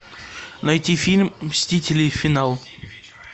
найти фильм мстители финал